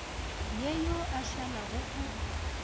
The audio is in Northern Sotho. ye yo a šalago o